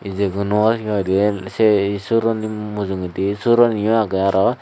ijegun hi hoidey sei suroni mujungedi suraniu agey aro.